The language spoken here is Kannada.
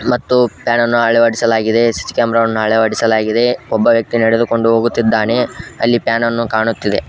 ಮತ್ತು ಪಾನ್ ಅನ್ನು ಅಳವಡಿಸಲಾಗಿದೆ ಸಿ_ಸಿ ಕ್ಯಾಮೆರಾ ವನ್ನು ಅಳವಡಿಸಲಾಗಿದೆ ಒಬ್ಬ ವ್ಯಕ್ತಿ ನೆಡೆದುಕೊಂಡು ಹೋಗುತ್ತಿದ್ದಾನೆ ಅಲ್ಲಿ ಪಾನ್ ಅನ್ನು ಕಾಣುತ್ತಿದೆ.